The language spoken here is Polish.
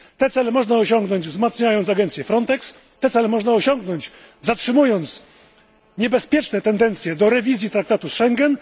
Te cele można osiągnąć wzmacniając agencję FRONTEX, te cele można osiągnąć, zatrzymując niebezpieczne tendencje do rewizji traktatu z Schengen.